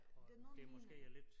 Det noget minder